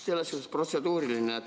Mul on, jaa, protseduuriline küsimus.